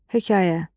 Hekayə.